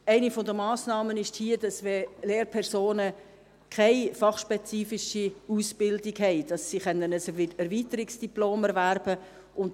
Eine der Massnahmen ist hier, dass Lehrpersonen, die keine fachspezifische Ausbildung haben, ein Erweiterungsdiplom erwerben können.